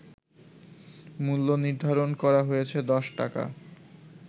মূল্যনির্ধারণ করা হয়েছে ১০ টাকা